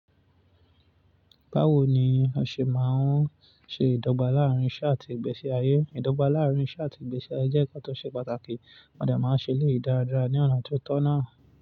Báwo ni a ṣe máa ń ṣe ìdọ́gba láàárín iṣẹ́ àti ìgbésí ayé? Ìdọ́gba láàárín iṣẹ́ àti ìgbésí ayé jẹ́ ǹkan tó ṣe pàtàkì. Mo de máa ń ṣe eléyi dáadáa ní ọ̀nà ti o tọ́ náà.